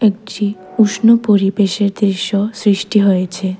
একটি উষ্ণ পরিবেশের দৃশ্য সৃষ্টি হয়েছে।